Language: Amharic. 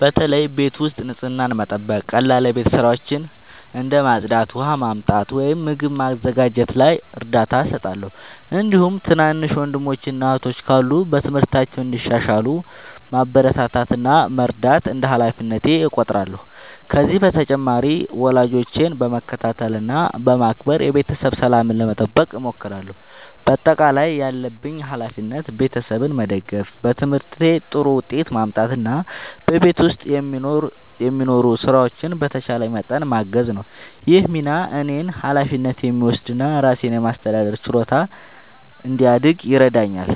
በተለይ ቤት ውስጥ ንጽህናን መጠበቅ፣ ቀላል የቤት ሥራዎችን እንደ ማጽዳት፣ ውሃ ማመጣት ወይም ምግብ ማዘጋጀት ላይ እርዳታ እሰጣለሁ። እንዲሁም ትናንሽ ወንድሞችና እህቶች ካሉ በትምህርታቸው እንዲሻሻሉ ማበረታታት እና መርዳት እንደ ሃላፊነቴ እቆጥራለሁ። ከዚህ በተጨማሪ ወላጆቼን በመከታተል እና በማክበር የቤተሰብ ሰላምን ለመጠበቅ እሞክራለሁ። በአጠቃላይ ያለብኝ ሃላፊነት ቤተሰቤን መደገፍ፣ በትምህርቴ ጥሩ ውጤት ማምጣት እና በቤት ውስጥ የሚኖሩ ሥራዎችን በተቻለኝ መጠን ማገዝ ነው። ይህ ሚና እኔን ኃላፊነት የሚወስድ እና ራሴን የማስተዳደር ችሎታ እንዲያድግ ይረዳኛል።